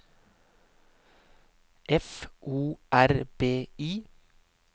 F O R B I